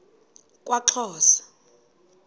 kwaxhosa